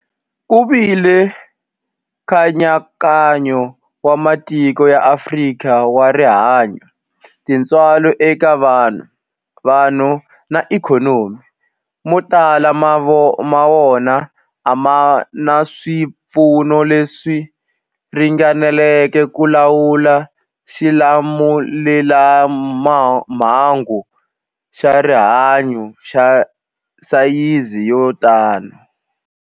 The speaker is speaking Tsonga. Ku vile nkayakayo wa matiko ya Afrika wa rihanyu, tintswalo eka vanhu, vanhu na ikhonomi, mo tala ma wona a ma na swipfuno leswi ringaneleke ku lawula xilamulelamhangu xa rihanyu xa sayizi yo tani.